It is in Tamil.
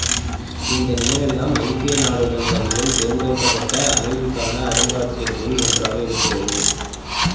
இந்த நினைவில்லம் ஐக்கிய நாடுகள் சபையால் தேர்ந்தெடுக்கப்பட்ட அமைதிக்கான அருங்காட்சியகங்களில் ஒன்றாக இருக்கின்றது